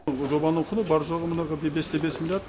бұл жұбаның құны бар жоғы мына бес те бес миллиард